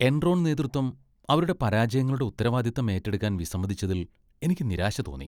Enron നേതൃത്വം അവരുടെ പരാജയങ്ങളുടെ ഉത്തരവാദിത്തം ഏറ്റെടുക്കാൻ വിസമ്മതിച്ചതിൽ എനിക്ക് നിരാശ തോന്നി .